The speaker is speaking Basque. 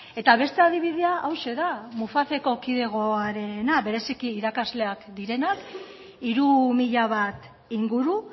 eta beste adibidea hauxe da mufaceko kidegoarena bereziki irakasleak direnak hiru mila bat inguru